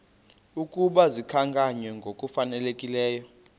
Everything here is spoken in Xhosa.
ukuba zikhankanywe ngokufanelekileyo